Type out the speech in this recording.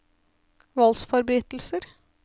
voldsforbrytelser